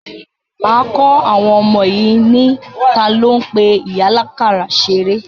Máa kọ́ àwọn ọmọ yìí ní, talo ń pe ìyá àlákàrà ṣeré?